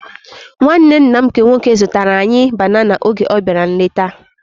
Nwanne nna m nke nwoke zụtara anyị banana oge ọ bịara nleta